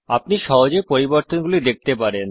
আপনি সহজে পরিবর্তনগুলি দেখতে পারেন